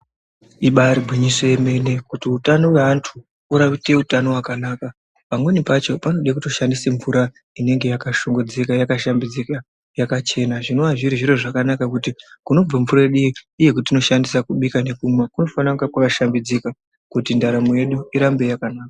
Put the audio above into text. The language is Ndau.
Ibaari gwinyiso yemene kuti utano hweanthu urauite utano hwakanaka pamweni pacho panode kutoshandiswa mvura inenge yakashongodzeka yakashambidzika yakachena zvinova zviri zviro zvakanaka kuti kunobva mvura yedu iyi iyo yatinoshandisa kubika nekumwa kunofana kunge kwakashambidzika kuti ndaramo yedu irambe yakanaka.